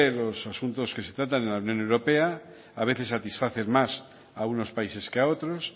los asuntos que se tratan en el unión europea a veces satisfacen más a unos países que a otros